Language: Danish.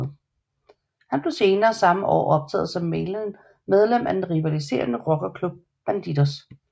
Han blev senere samme år optaget som medlem af den rivaliserende rockerklub Bandidos